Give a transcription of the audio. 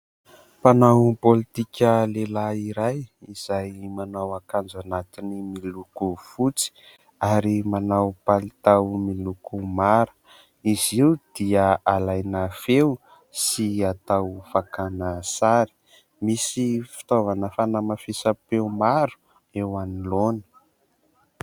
Mpanao pôlitika lehilahy iray izay manao akanjo anatiny miloko fotsy ary manao palitao miloko mara, izy io dia alaina feo sy atao fakana sary, misy fitaovana fanamafisam-peo maro eo anoloany.